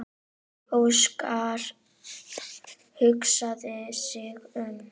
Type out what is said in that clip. Óskar hugsaði sig um.